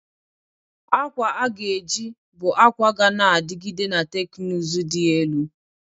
Akwa a ga-eji bụ akwa ga na-adigide na teknụzụ dị elu.